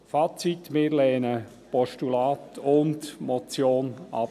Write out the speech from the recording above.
Fazit: Wir lehnen das Postulat und die Motion ab.